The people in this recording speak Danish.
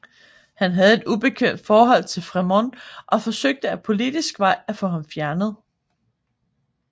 Han havde et ubekvemt forhold til Frémont og forsøgte ad politisk vej at få ham fjernet